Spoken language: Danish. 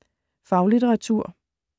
Faglitteratur